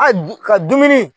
Al dun ka dumuni.